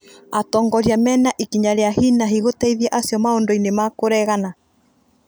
Atongoria mena ikinya rĩa hinahi gũteithia acio maũndũini ma kũregana